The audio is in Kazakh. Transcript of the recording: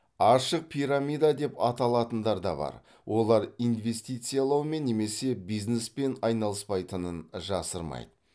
ашық пирамида деп аталатындар бар олар инвестициялаумен немесе бизнеспен айналыспайтынын жасырмайды